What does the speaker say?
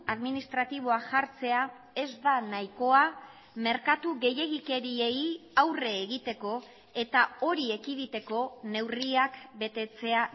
administratiboa jartzea ez da nahikoa merkatu gehiegikeriei aurre egiteko eta hori ekiditeko neurriak betetzea